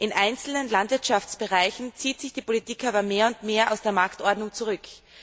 In einzelnen Landwirtschaftsbereichen zieht sich die Politik aber mehr und mehr aus der Marktordnung zurück.